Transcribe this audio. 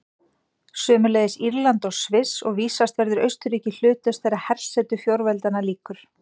Sömuleiðis Írland og Sviss, og vísast verður Austurríki hlutlaust þegar hersetu fjórveldanna lýkur.